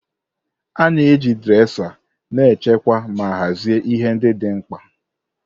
A na-eji dresa na-echekwa ma hazie ihe ndị dị mkpa.